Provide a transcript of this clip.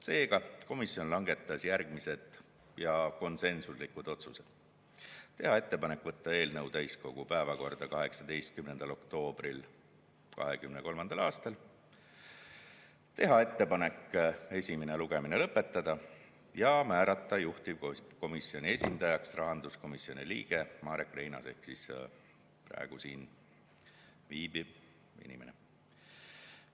Seega komisjon langetas järgmised konsensuslikud otsused: teha ettepanek võtta eelnõu täiskogu päevakorda 18. oktoobril 2023. aastal, teha ettepanek esimene lugemine lõpetada ja määrata juhtivkomisjoni esindajaks rahanduskomisjoni liige Marek Reinaas ehk siis praegu siin viibiv inimene.